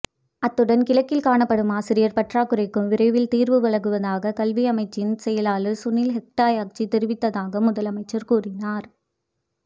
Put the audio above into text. அத்துடன் கிழக்கில் காணப்படும் ஆசிரியர் பற்றாக்குறைக்கும் விரைவில் தீர்வு வழங்குவதாக கல்வியமைச்சின் செயலாளர் சுனில் ஹெட்டியாராச்சி தெரிவித்ததாக முதலமைச்சர் கூறினார்